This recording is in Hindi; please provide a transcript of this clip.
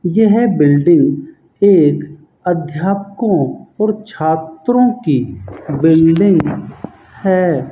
यह बिल्डिंग एक अध्यापकों और छात्रों की बिल्डिंग है।